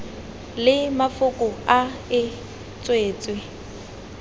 le mafoko a e tswetswe